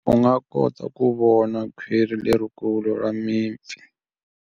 U nga kota ku vona khwiri lerikulu ra mipfi.